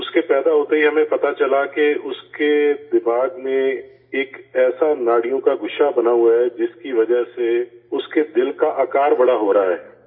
اس کے پیدا ہوتے ہی ہمیں پتہ چلا کہ اس کے دماغ میں ایک ایسا نسوں کا گچھا بنا ہوا ہے جس کی وجہ سے اس کے دل کا سائز بڑا ہو رہا ہے